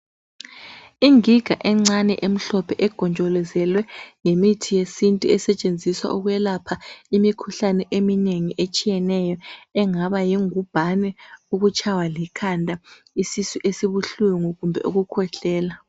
Ingiga encane emhlophe egonjolozwe yimithi yesintu esetshenziswa ukwelapha imikhuhlane eminengi etshiyeneyo engaba yingubhane, ukutshaywa likhanda, isisu esibuhlungi kumbe ukukhwehlela.